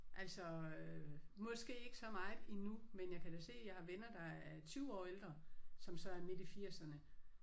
Altså øh måske ikke så meget endnu men jeg kan da se jeg har venner der er 20 år ældre som så er midt i firserne